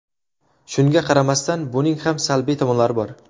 Shunga qaramasdan, buning ham salbiy tomonlari bor.